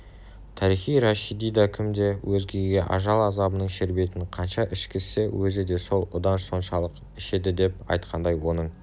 тарихи рашидидакім де кім өзгеге ажал азабының шербетін қанша ішкізсе өзі де сол удан соншалық ішедідеп айтқандай оның